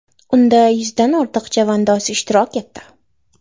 Unda yuzdan ortiq chavandoz ishtirok etdi.